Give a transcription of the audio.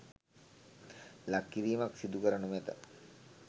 ලක් කිරීමක් සිදු කර නොමැත